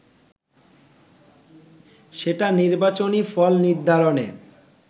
সেটা নির্বাচনী ফল নির্ধারণে